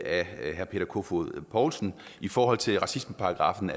af herre peter kofod poulsen i forhold til racismeparagraffen